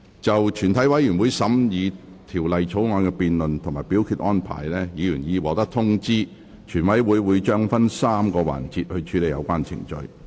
就全體委員會審議《條例草案》的辯論及表決安排，議員已獲通知，全委會將會分3個環節處理有關程序。